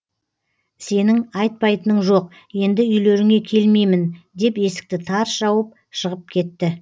сенің айтпайтының жоқ енді үйлеріңе келмеймін деп есікті тарс жауып шығып кетті